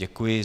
Děkuji.